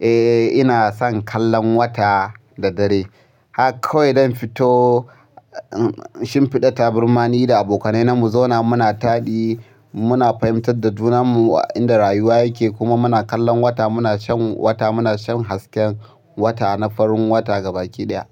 Eh, ina son kallon wata da dare. Haka kawai dan fito in shimfiɗa taburmani da abokanai namu zauna muna taɗi, muna fahimtar da junammu inda rayuwa yake kuma muna kallon wata. Muna shan wata, muna shan hasken wata na farin wata gaba ƙidaya.